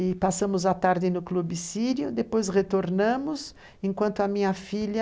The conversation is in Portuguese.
E passamos à tarde no clube sírio, depois retornamos, enquanto a minha filha